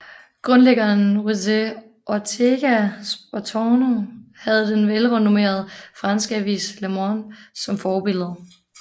Grundlæggeren José Ortega Spottorno havde den velrenommerede franske avis Le Monde som forbillede